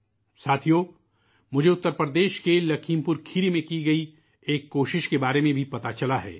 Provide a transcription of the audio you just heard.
ساتھیو ، مجھے اترپردیش کے لکھیم پور کھیری میں کئے گئے ایک تجربے کے بارے میں بھی پتہ چلا ہے